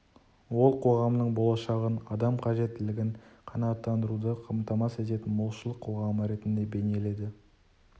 ол қоғамның болашағын адам қажеттілігін қанағатандыруды қамтамас ететін молшылық қоғамы ретінде бейнеледі